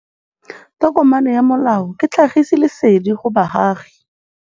Tokomane ya molao ke tlhagisi lesedi go baagi.